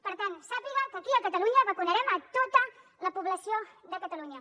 per tant sàpiga que aquí a catalunya vacunarem a tota la població de catalunya